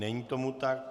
Není tomu tak.